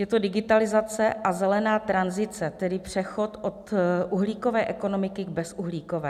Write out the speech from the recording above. Je to digitalizace a zelená tranzice, tedy přechod od uhlíkové ekonomiky k bezuhlíkové.